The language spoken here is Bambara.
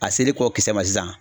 A seri kɔ kisɛ ma sisan